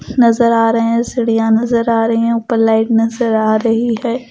नजर आ रहे हैं सिड़ियां नजर आ रही हैं ऊपर लाइट नजर आ रही है ।